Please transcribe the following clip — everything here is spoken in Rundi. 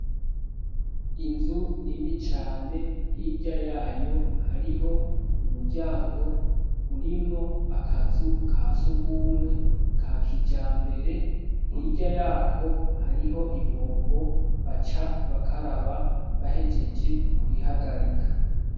inzu nini cane hirya yayo hariho umuryango urimwo akazu ka sugumwe ka kija mbere hirya yako hariho ibombo baca bakaraba bahejeje kwihagarika